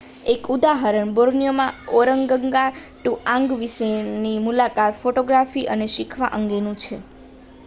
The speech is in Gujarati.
એક ઉદાહરણ બોર્નિયોમાં ઓરગંગાટુઆંગ વિશેની મુલાકાત ફોટોગ્રાફી અને શીખવા અંગેનું છે